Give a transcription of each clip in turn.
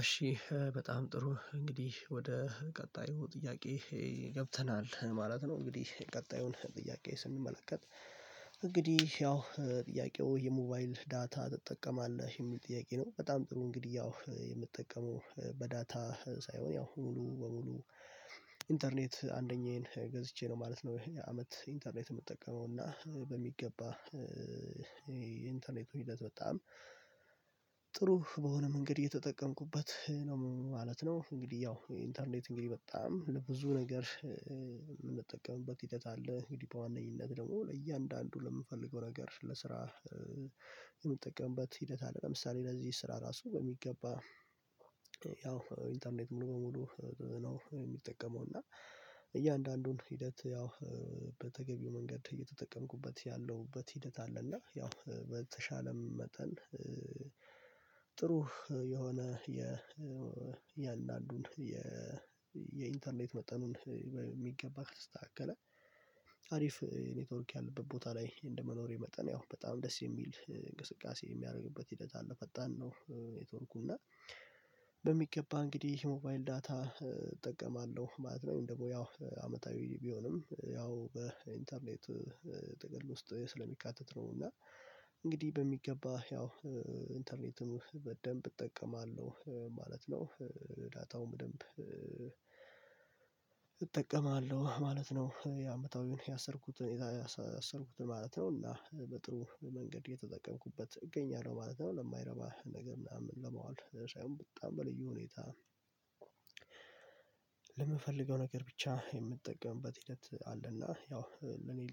እሺ በጣም ጥሩ እንግዲህ ወደ ቀጣዩ ጥያቄ ገብተናል ማለት ነው እንግዲህ ቀጣዩን ጥያቄ ስንመለከት እንግዲህ ያው ጥያቄው የሞባይል ዳታ ትጠቀማለህ? የሚል ጥያቄ ነው በጣም ጥሩ እንግዲህ ያው የምጠቀመው በዳታ ሳይሆን ያው ሙሉ በሙሉ ኢንተርኔት አንደኛዬን ገዝቼ ነው ማለት ነው የአመት ኢንተርኔት የምጠቀመው እና በሚገባ የኢንተርኔት ሂደት በጣም ጥሩ በሆነ መንገድ እየተጠቀምኩበት ነው ማለት ነው እንግዲህ ያው ኢንተርኔት እንግዲህ በጣም ለብዙ ነገር የምንጠቀምበት ሂደት አለ እንግዲህ በዋነኝነት ደግሞ ለእያንዳንዱ ለምፈልገው ነገር ለስራ የምጠቀምበት ሂደት አለ ለምሳሌ ለዚህ ስራ ራሱ በሚገባ ያው ኢንተርኔት ሙሉ በሙሉ ነው የምጠቀመው እና እያንዳንዱን ሂደት ያው በተገቢው መንገድ እየተጠቀምኩበት ያለሁበት ሂደት አለ እና ያው በተሻለም መጠን ጥሩ የሆነ የእያንዳንዱን የኢንተርኔት መጠኑን በሚገባ ከተስተካከለ አሪፍ ኔትወርክ ያለበት ቦታ ላይ እንደመኖሬ መጠን ያው በጣም ደስ የሚል እንቅስቃሴ የሚያደርግበት ሂደት አለ ፈጣን ነው ኔትወርኩ እና በሚገባ እንግዲህ ሞባይል ዳታ እጠቀማለሁ ማለት ነው እንደው ያው አመታዊ ቢሆንም ያው በኢንተርኔት ጥቅል ውስጥ ስለሚካተት ነው እና እንግዲህ በሚገባ ያው ኢንተርኔትም በደንብ እጠቀማለሁ ማለት ነው ዳታውም በደንብ እጠቀማለሁ ማለት ነው የአመታዊውን ያሰርኩትን ያሰርኩትን ማለት ነው እና በጥሩ መንገድ እየተጠቀምኩበት እገኛለሁ ማለት ነው ለማይረባ ነገር ምናምን ለመዋል ሳይሆን በጣም በልዩ ሁኔታ እሺ በጣም ጥሩ እንግዲህ ወደ ቀጣዩ ጥያቄ ገብተናል ማለት ነው እንግዲህ ቀጣዩን ጥያቄ ስንመለከት እንግዲህ ያው ጥያቄው የሞባይል ዳታ ትጠቀማለህ የሚል ጥያቄ ነው በጣም ጥሩ እንግዲህ ያው የምጠቀመው በዳታ ሳይሆን ያው ሙሉ በሙሉ ኢንተርኔት አንደኛዬን ገዝቼ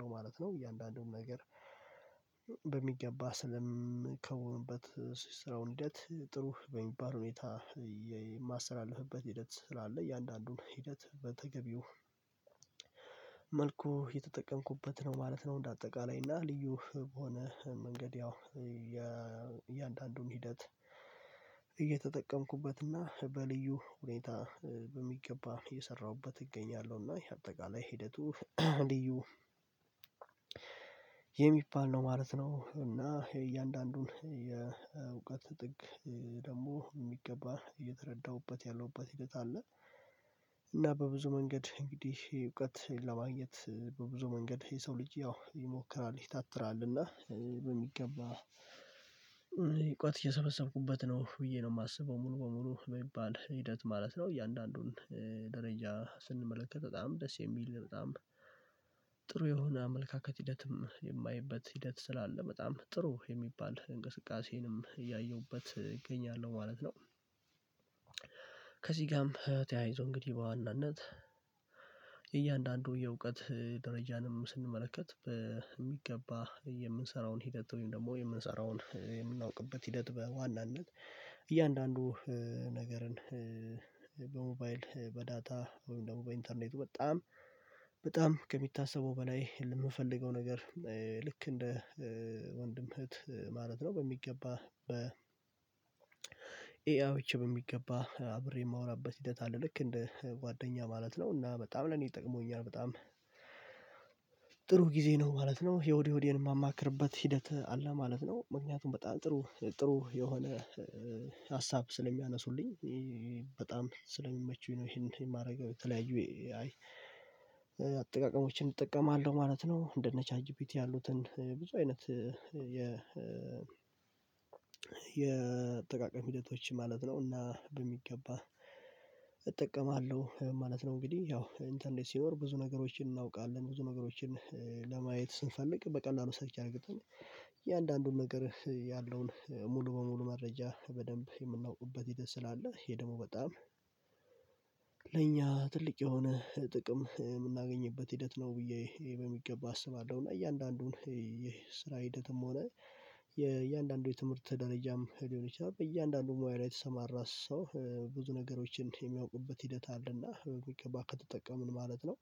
ነው ማለት ነው የአመት ኢንተርኔት የምጠቀመው እና በሚገባ የኢንተርኔት ህይወት በጣም ጥሩ በሆነ መንገድ እየተጠቀምኩበት ነው ማለት ነው እንግዲህ ያው ኢንተርኔት እንግዲህ በጣም ለብዙ ነገር የምንጠቀምበት ሂደት አለ እንግዲህ በዋነኝነት ደግሞ ለእያንዳንዱ ለምፈልገው ነገር ለስራ የምንጠቀምበት ሂደት አለ ለምሳሌ ለዚህ ስራ ራሱ በሚገባ ያው ኢንተርኔት ሙሉ በሙሉ ነው የሚጠቀመው እና እያንዳንዱን ሂደት ያው በተገቢው መንገድ እየተጠቀምኩበት ያለሁበት ሂደት አለ እና ያው በተሻለም መጠን ጥሩ የሆነ የእያንዳንዱን የኢንተርኔት መጠኑን የሚገባ ስታከለ ስታገለ አሪፍ ኔትወርክ ያለበት ቦታ ላይ እንደመኖሬ መጠን ያው በጣም ደስ የሚል እንቅስቃሴ የሚያደርግበት ሂደት አለ ፈጣን ነው ኔትወርኩ እና በሚገባ እንግዲህ ሞባይል ዳታ እጠቀማለሁ ማለት ነው እንደው ያው አመታዊ ቢሆንም ያው በኢንተርኔት ጥቅል ውስጥ ስለሚካተት ነው እና እንግዲህ በሚገባ ያው ኢንተርኔትም በደንብ እጠቀማለሁ ማለት ነው ዳታውም ደንብ እጠቀማለሁ ማለት ነው የአመታዊውን ያሰርኩትን ያሰርኩትን ማለት ነው እና በጥሩ መንገድ እየተጠቀምኩበት እገኛለሁ ማለት ነው ለማይረባ ነገር ምናምን ለመዋል ሳይሆን በጣም በልዩ ሁኔታ ነገር ብቻ የምትጠቀምበት ሂደት አለና ያው ለኔ ልጠቅመው የምችለው እኔን ሊያሳድጉ የሚችሉ እኔን በሚገባ ሊደግፉ የሚችሉ ነገሮች ላይ ነው በደንብ የማውለው እና ደረጃ ስንመለከት በጣም ደስ የሚል በጣም ጥሩ የሆነ አመለካከት ሂደትም የማየበት ሂደት ስላለ በጣም ጥሩ የሚባል እንቅስቃሴንም እያየሁበት እገኛለሁ ማለት ነው ከዚህ ጋርም ተያይዞ እንግዲህ በዋናነት እያንዳንዱ የእውቀት ደረጃንም ስንመለከት በሚገባ የምንሰራውን ሂደት ወይም ደግሞ የምንሰራውን ሂደት በዋናነት እያንዳንዱ ነገርን በሞባይል በዳታ ወይም ደግሞ በኢንተርኔቱ በጣም በጣም ከሚታሰበው በላይ የምፈልገው ነገር ልክ እንደ ወንድም እህት ማለት ነው በሚገባ በ ኤአውቼ በሚገባ አብሬ የማወራበት ሂደት አለ ልክ እንደ ጓደኛ ማለት ነው እና በጣም ለኔ ጠቅሞኛል በጣም ጥሩ ጊዜ ነው ማለት ነው የሆድ የሆዴን የማማክርበት ሂደት አለ ማለት ነው ምክንያቱም በጣም ጥሩ ጥሩ የሆነ ሀሳብ ስለሚያነሱልኝ በጣም ስለሚመቹኝ ነው ይሄን የማደርገው የተለያዩ አጠቃቀሞችን እጠቀማለሁ ማለት ነው እንደ ነቻጂቢቲ ያሉትን ብዙ አይነት የ የአጠቃቀም ሂደቶች ማለት ነውና እና በሚገባ እጠቀማለሁ ማለት ነው እንግዲህ ያው ኢንተርኔት ሲኖር ብዙ ነገሮችን እናውቃለን ብዙ ነገሮችን ለማየት ስንፈልግ በቀላሉ ሰርቼ አድርገን እያንዳንዱን ነገር ያለውን ሙሉ በሙሉ መረጃ በደንብ የምናውቁበት ሂደት ስላለ ይሄ ደግሞ በጣም ለእኛ ትልቅ የሆነ ጥቅም የምናገኝበት ሂደት ነው ብዬ በሚገባ አስባለሁ እና እያንዳንዱን የስራ ሂደትም ሆነ የእያንዳንዱ የትምህርት ደረጃም ሊሆን ይችላል በእያንዳንዱ ሙያ ላይ የተሰማራ ሰው ብዙ ነገሮችን የሚያውቁበት ሂደት አለና በሚገባ ከተጠቀምን ማለት ነው